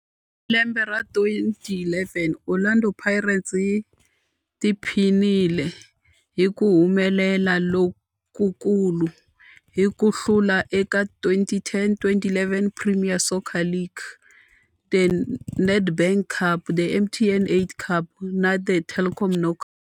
Hi lembe ra 2011, Orlando Pirates yi tiphinile hi ku humelela lokukulu hi ku hlula eka 2010-2011 Premier Soccer League, The Nedbank Cup, The MTN 8 Cup na The Telkom Knockout.